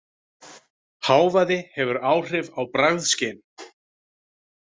Hávaði hefur áhrif á bragðskyn